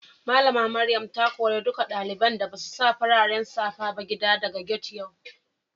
Mallama Maryam ta kore dukan dalibain da basu sa fararen safa ba gida daga gati'n yau.